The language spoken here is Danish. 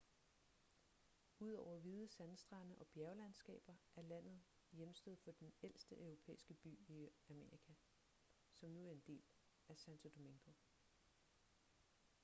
udover hvide sandstrande og bjerglandskaber er landet hjemsted for den ældste europæiske by i amerika som nu er en del af santo domingo